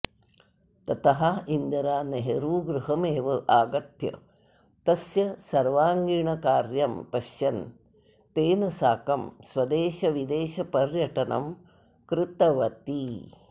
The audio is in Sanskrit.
ततः इन्दिरा नेहरुगृहमेव आगत्य तस्य सर्वाङ्गीणकार्यं पश्यन् तेन साकं स्वदेशविदेशपर्यटनं कृतवती